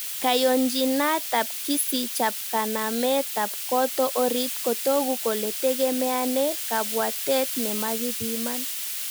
Kayonjinatab kisich ab kanametab koto orit kotoku kole tegemeane kabwatet nemakibiman